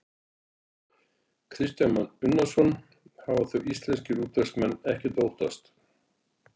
Kristján Már Unnarsson: Hafa þá íslenskir útvegsmenn ekkert að óttast?